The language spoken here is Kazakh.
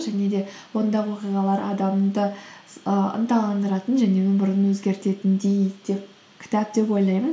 және де онда оқиғалар адамды ыыы ынталандыратын және өмірін өзгертетіндей деп кітап деп ойлаймын